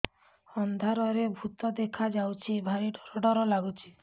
ଅନ୍ଧାରରେ ଭୂତ ଦେଖା ଯାଉଛି ଭାରି ଡର ଡର ଲଗୁଛି